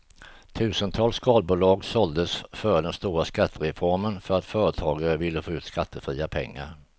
Tusentals skalbolag såldes före den stora skattereformen för att företagare ville få ut skattefria pengar.